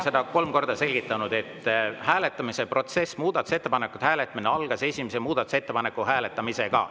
Ma olen kolm korda selgitanud, et hääletamise protsess, muudatusettepanekute hääletamine algas esimese muudatusettepaneku hääletamisega.